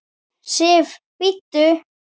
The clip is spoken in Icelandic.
SIF, BÍDDU!